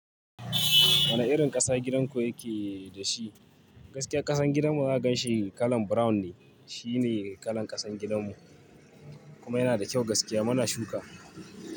Wane irin ƙasa gidanku yake da shi? Gaskiya ƙasan gidanmu in aka ganshi kalan brown ne. Shine kalan ƙasan gidanmu kuma yana da kyau gaskiya. Muna shuka.